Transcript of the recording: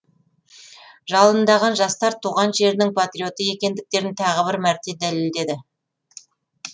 жалындаған жастар туған жерінің патриоты екендіктерін тағы бір мәрте дәлелдеді